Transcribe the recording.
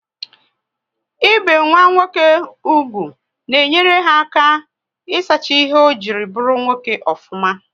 Ị be nwa nwoke úgwù na enyere ha aka isacha ihe ọ jiri bụrụ nwoke ofuma